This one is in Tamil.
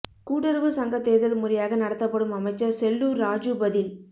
கூட்டுறவு சங்க தேர்தல் முறையாக நடத்தப்படும் அமைச்சர் செல்லூர் ராஜூ பதில்